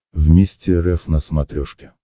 вместе рф на смотрешке